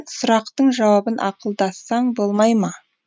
сұрақтың жауабын ақылдассаң болмай ма